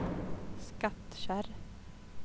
Skattkärr